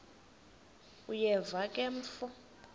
uyeva ke mfo